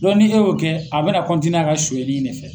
ni e y'o kɛ, a be na a ka suɲɛli de fɛ.